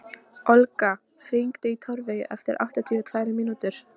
Olga, hringdu í Torfeyju eftir áttatíu og tvær mínútur.